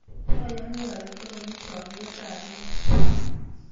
Ayani ale takomi chamyet ap iman